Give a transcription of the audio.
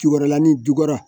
Cokɔrɔla nin jukɔrɔ